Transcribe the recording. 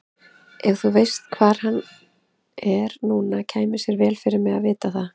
Ef þú veist hvar hann er núna kæmi sér vel fyrir mig að vita það.